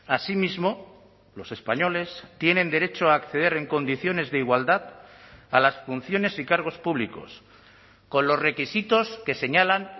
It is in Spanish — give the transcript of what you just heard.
asimismo los españoles tienen derecho a acceder en condiciones de igualdad a las funciones y cargos públicos con los requisitos que señalan